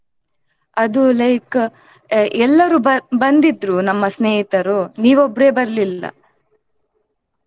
ಅದು like ಎಲ್ಲರೂ ಬ~ ಬಂದಿದ್ರು ನಮ್ಮ ಸ್ನೇಹಿತರು ನೀವ್ ಒಬ್ರೇ ಬರ್ಲಿಲ್ಲ.